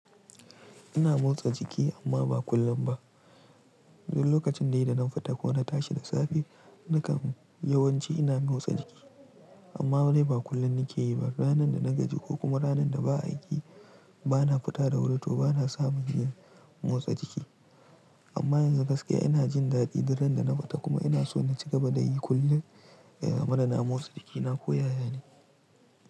Ina motsa jiki amma ba kullum ba. Duk lokacin de dana fita ko na tashi da safe, nakan yawanci ina motsa jiki. Amma wani ba kullum nake yi ba. Ranar da na gaji ko kuma ranar da ba aiki, ba na fita da wuri to ba na samu yin motsa jiki. Amma yanzu gaskiya ina jin daɗi duk ran da na fita kuma ina so na ci gaba da yi kullum wadda damuwansu take na koya yane.